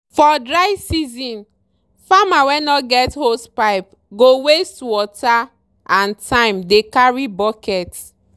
for dry season farmer wey no get hosepipe go waste water and time dey carry bucket.